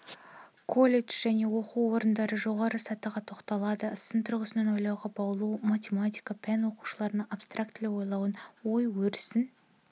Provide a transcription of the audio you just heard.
колледж және оқу орындары жоғарғы сатыға тоқталады сын тұрғысынан ойлауға баулу математика пәні-оқушылардың абстрактілі ойлауын ой-өрісін